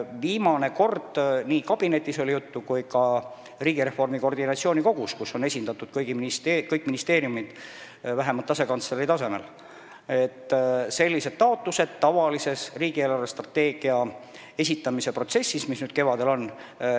Viimane kord oli nii valitsuskabinetis kui ka riigireformi koordinatsioonikogus, kus on esindatud kõik ministeeriumid vähemalt asekantsleri tasemel, jutuks, et ministeeriumid esitavad sellised taotlused riigi eelarvestrateegia koostamise käigus, mis nüüd kevadel tuleb.